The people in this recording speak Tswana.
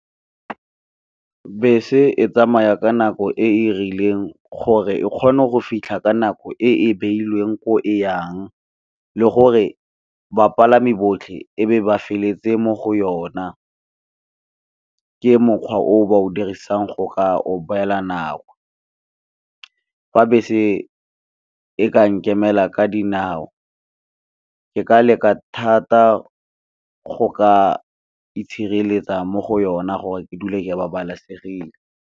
Bese e tsamaya ka nako e e rileng gore e kgone go fitlha ka nako e e beilweng ko eyang, le gore bapalami botlhe e be ba felletse mo go yona. Ke mokgwa o ba o dirisang go ka obeela nako, fa bese e ka nkemela ka dinao, ke ka leka thata go ka itshireletsa mo go yona gore ke dule ke babalesegile.